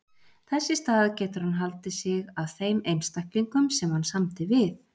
Þess í stað getur hann haldið sig að þeim einstaklingum sem hann samdi við.